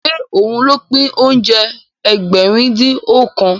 Ṣé òun ló pín oúnjẹ Ẹgbẹ̀rin-dín-ọ̀kan?